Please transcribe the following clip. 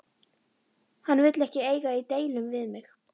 Hann vill ekki eiga í deilum við mig.